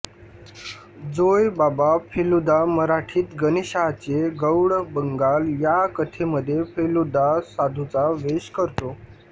जोय बाबा फेलूदा मराठीत गणेशाचे गौडबंगाल या कथेमधे फेलूदा साधूचा वेश करतो